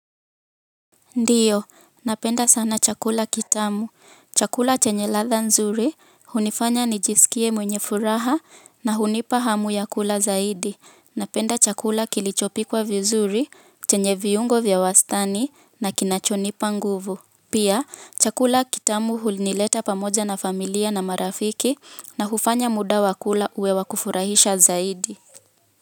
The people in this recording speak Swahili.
Ndiyo, napenda sana chakula kitamu. Chakula chenye ladha nzuri, hunifanya nijisikie mwenye furaha na hunipa hamu ya kula zaidi. Napenda chakula kilichopikwa vizuri, chenye viungo vya wastani na kinachonipa nguvu. Pia, chakula kitamu hunileta pamoja na familia na marafiki na hufanya muda wa kula uwe wa kufurahisha zaidi.